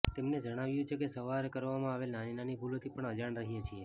તમને જણાવીએ કે સવારે કરવામાં આવેલ નાની નાની ભૂલોથી પણ અજાણ રહીએ છીએ